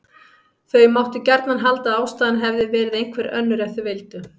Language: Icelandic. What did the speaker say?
Þau máttu gjarnan halda að ástæðan hefði verið einhver önnur ef þau vildu.